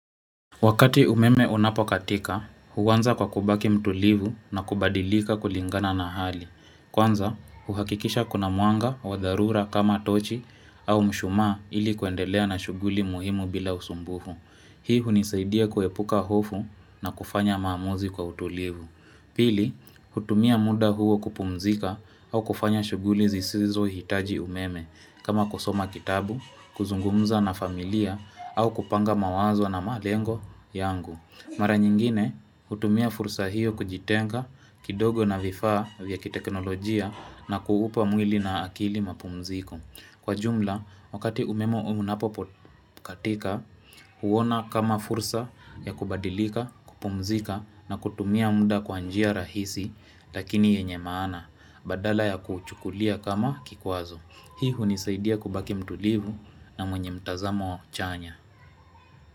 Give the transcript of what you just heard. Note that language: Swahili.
Wakati umeme unapokatika, uanza kwa kubaki mtulivu na kubadilika kulingana na hali. Kwanza, uhakikisha kuna mwanga wa dharura kama tochi au mshumaa ili kuendelea na shughuli muhimu bila usumbufu. Hii hunisaidia kuepuka hofu na kufanya maamuzi kwa utulivu. Pili, hutumia muda huo kupumzika au kufanya shughuli zisizo hitaji umeme. Kama kusoma kitabu, kuzungumza na familia au kupanga mawazo na malengo yangu mara nyingine utumia fursa hiyo kujitenga kidogo na vifaa vya kiteknolojia na kuupa mwili na akili mapumziko kwa jumla wakati umeme huu unapopotea katika, huona kama fursa ya kubadilika, kupumzika na kutumia muda kwa njia rahisi Lakini yenye maana, badala ya kuchukulia kama kikwazo hii hunisaidia kubaki mtulivu na mwenye mtazamo chanya.